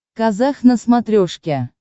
казах на смотрешке